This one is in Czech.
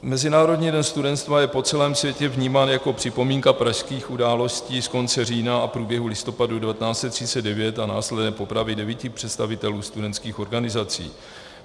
Mezinárodní den studenstva je po celém světě vnímán jako připomínka pražských událostí z konce října a průběhu listopadu 1939 a následné popravy devíti představitelů studentských organizací.